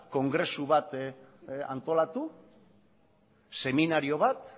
kongresu bat antolatu seminario bat